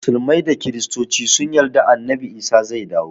Musulmai da kristoci sun yarda annabi isa zai dawo